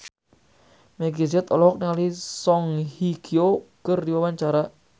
Meggie Z olohok ningali Song Hye Kyo keur diwawancara